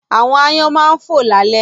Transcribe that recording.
Àwọn aáyán máa ń fò lálẹ́